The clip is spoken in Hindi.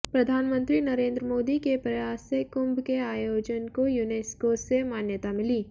प्रधानमंत्री नरेन्द्र मोदी के प्रयास से कुंभ के आयोजन को यूनेस्को से मान्यता मिली